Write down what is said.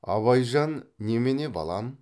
абайжан немене балам